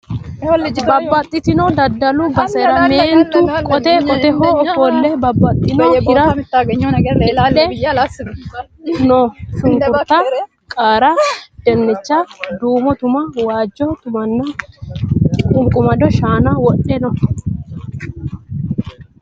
Babbaxitino daddalu basera meentu qote qoteho ofolle babbaxino hira wodhe no. Shunkurta, qaara, dinnicha, duumo tuma, waajjo tumanna qunqumado shaana wodhe no.